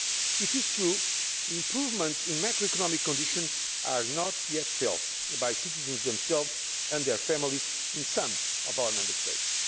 It is true that improvements in macroeconomic conditions are not yet being felt by citizens themselves and by their families in some of our Member States.